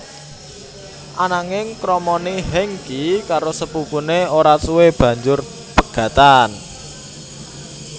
Ananging kramané Hengky karo sepupuné ora suwe banjur pegatan